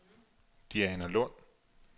Dianalund